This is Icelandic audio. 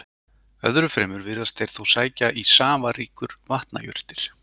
Öðru fremur virðast þeir þó sækja í safaríkur vatnajurtir.